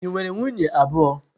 Ị nwere nwunye abụọ?